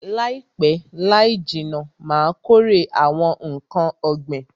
Laipe laijinna Ma kórè awon nkan ogbin